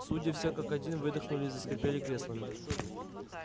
судьи все как один выдохнули и заскрипели креслами